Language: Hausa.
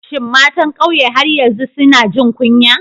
Shin matan kauye har yanzu suna jin kunya?